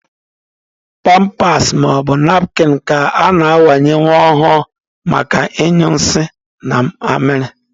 Pampas maọbụ napkịn ka a na-awanye nwa ọhụrụ maka ịnyụ nsị na amịrị.